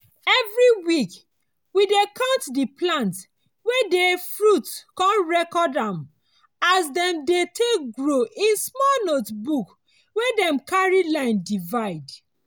everi week we dey count di plants wey dey fruit con record as dem dey take grow in small notebook wey dem carry line divide.